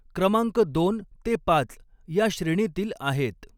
क्रमांक दोन ते पाच या श्रेणीतील आहेत.